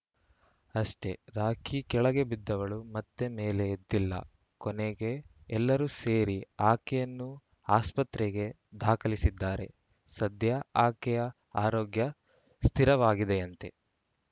ಅಷ್ಟೇ ರಾಖಿ ಕೆಳಗೆ ಬಿದ್ದವಳು ಮತ್ತೆ ಮೇಲೆ ಎದ್ದಿಲ್ಲ ಕೊನೆಗೆ ಎಲ್ಲರೂ ಸೇರಿ ಆಕೆಯನ್ನು ಆಸ್ಪತ್ರೆಗೆ ದಾಖಲಿಸಿದ್ದಾರೆ ಸದ್ಯ ಆಕೆಯ ಆರೋಗ್ಯ ಸ್ಥಿರವಾಗಿದೆಯಂತೆ